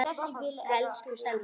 Elsku Selma.